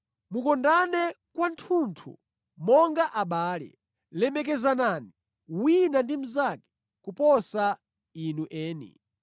Mukondane kwathunthu monga abale. Lemekezanani wina ndi mnzake kuposa inu eni.